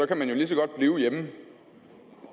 kan man lige så godt blive hjemme